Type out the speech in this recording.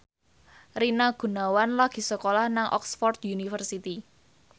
Rina Gunawan lagi sekolah nang Oxford university